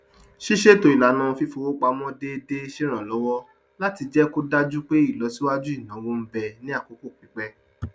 ṣíṣètò ìlànà fífọwó pamọ déédé ṣe ràn lówọ láti jẹ kó dájú pé ìlọsíwájú ináwó ń bẹ ní àkókò pípẹ